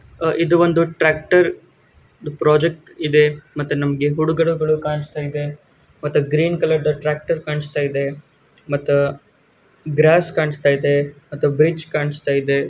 ಆಹ್ಹ್ ಇದು ಒಂದು ಟ್ರ್ಯಾಕ್ಟರ್ ಒಂದು ಪ್ರಾಜೆಕ್ಟ್ ಇದೆ ಮತ್ತ ನಮಗೆ ಕಾಣಿಸ್ತಾ ಐತೆ ಮತ್ತೆ ಗ್ರೀನ್ ಕಲರ್ ಟ್ರ್ಯಾಕ್ಟರ್ ಕಾಣಿಸ್ತಾ ಇದೆ ಮತ್ತ ಗ್ರಾಸ್ ಕಾಣಿಸ್ತಾ ಐತೆ ಮತ್ತ ಬ್ರಿಡಜ ಕಾಣಿಸ್ತಾ ಇದೆ.